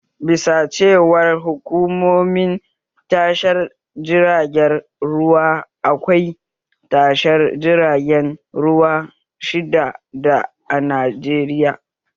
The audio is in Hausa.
Bisa ga cewar hukumomin tashar jiragen ruwa, akwai tashar jirgin ruwa shidda a Najeriya